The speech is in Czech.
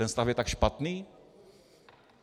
Ten stav je tak špatný?